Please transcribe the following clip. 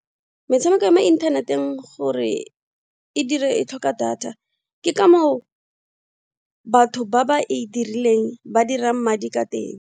Metshameko ya mo internet-eng gore e dire e tlhoka data ke kamo batho ba ba e dirileng ba dirang madi ka teng.